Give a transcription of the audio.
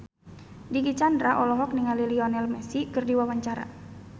Dicky Chandra olohok ningali Lionel Messi keur diwawancara